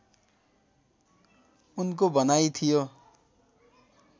उनको भनाई थियो